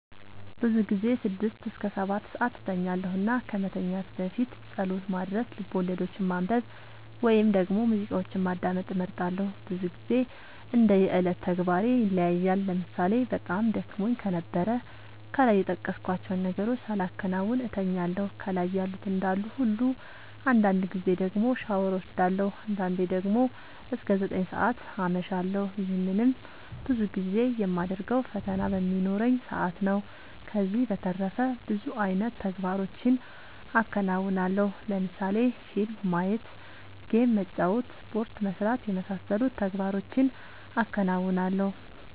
ብዙ ጊዜ ስድስት እስከ ሰባትሰዓት እተኛለሁ እና ከመተኛት በፊት ፀሎት ማድረስ፣ ልቦለዶችን ማንበብ ወይም ደግሞ ሙዚቃዎችን ማዳመጥ እመርጣለሁ። ብዙ ግዜ እንደ የዕለት ተግባሬ ይለያያል ለምሳሌ በጣም ደክሞኝ ከነበረ ከላይ የጠቀስኳቸውን ነገሮች ሳላከናውን እተኛለሁ ከላይ ያሉት እንዳሉ ሁሉ አንዳንድ ጊዜ ደግሞ ሻወር ወስዳለሁ። አንዳንዴ ደግሞ እስከ ዘጠኝ ሰዓት አመሻለሁ ይህንንም ብዙ ጊዜ የማደርገው ፈተና በሚኖረኝ ሰአት ነው። ከዚህ በተረፈ ብዙ አይነት ተግባሮችን አከናወናለሁ ለምሳሌ ፊልም ማየት ጌም መጫወት ስፖርት መስራት የመሳሰሉት ተግባሮቹን አከናውናለሁ።